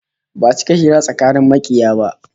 Ba'a cika hira tsakanin makiya ba